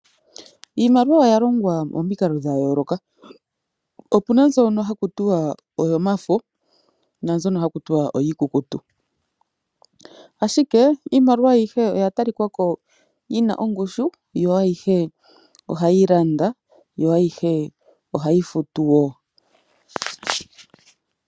Iimaliwa oya longwa pomikalo dha yooloka. Opuna mbyono hakutiwa oyomafo na mbyono hakutiwa oyi kukutu ashike iimaliwa ayihe oya tali kako yina ongushu yo ayihe ohayi landa yo ayihe ohayi futuwo.